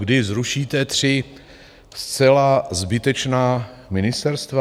Kdy zrušíte tři zcela zbytečná ministerstva?